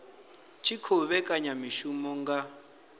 tshi khou vhekanya mishumo nga